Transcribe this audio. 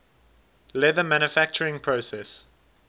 leather manufacturing process